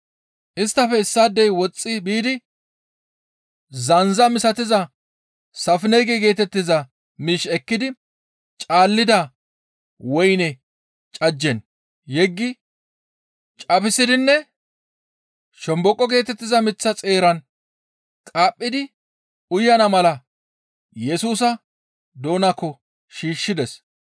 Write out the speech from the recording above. Isttafe issaadey woxxi biidi zandza misatiza safinege geetettiza miish ekkidi caalida woyne cajjen yeggi caphisidinne shomboqo geetettiza miththa xeeran qaaphidi uyana mala Yesusa doonaakko shiishshides.